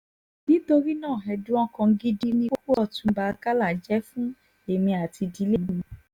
nítorí náà ẹ̀dùn ọkàn gidi nikú ọtúnba àkàlà jẹ́ fún èmi àti ìdílé mi